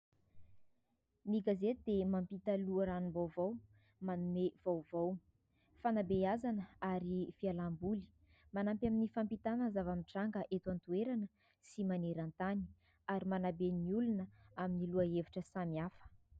Ny gazety dia mampita loharanom-baovao, manome vaovao fanabeazana ary fialam-boly. Manampy amin'ny fampitana zava-mitranga eto an-toerana sy maneran-tany ary manabe ny olona amin'ny loha-hevitra samihafa.